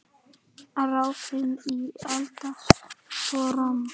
Raðið í eldfast form.